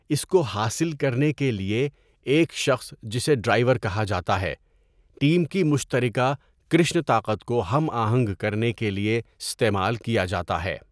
اس کو حاصل کرنے کے لیے، ایک شخص جسے 'ڈرائیور' کہا جاتا ہے، ٹیم کی مشترکہ کرشن طاقت کو ہم آہنگ کرنے کے لیے استعمال کیا جاتا ہے۔